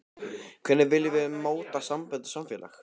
Hvernig viljum við móta sambönd og samfélag?